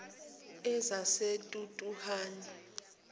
ezaseturuhani